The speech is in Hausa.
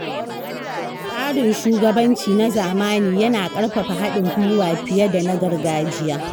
Tsarin shugabanci na zamani yana ƙarfafa haɗin gwiwa fiye da na gargajiya.